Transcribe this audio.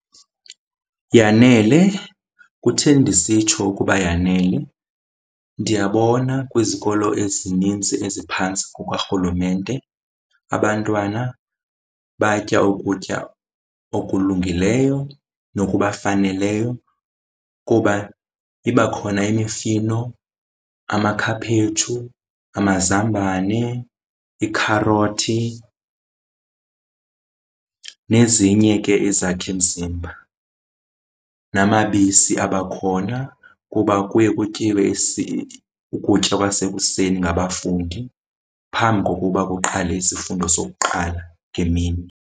Yanele. Kutheni ndisitsho ukuba yanele? Ndiyabona kwizikolo ezininzi eziphantsi kukarhulumente abantwana batya ukutya okulungileyo nokubafaneleyo kuba iba khona imifino, amakhaphetshu, amazambane, ikharothi nezinye ke izakhimzimba. Namabisi abakhona kuba kuye kutyiwe ukutya kwasekuseni ngabafundi phambi kokuba kuqale isifundo sokuqala ngemini.